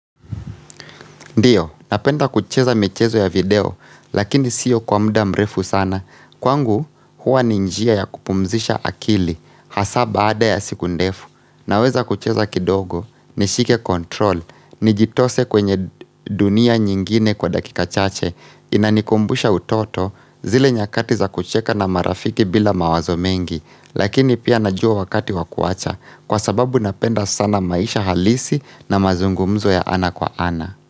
Ndiyo, napenda kucheza michezo ya video, lakini sio kwa muda mrefu sana, kwangu huwa ni njia ya kupumzisha akili, hasa baada ya siku ndefu, naweza kucheza kidogo, nishike control, nijitose kwenye dunia nyingine kwa dakika chache, inanikumbusha utoto, zile nyakati za kucheka na marafiki bila mawazo mengi, lakini pia najua wakati wakuacha, kwa sababu napenda sana maisha halisi na mazungumzo ya ana kwa ana.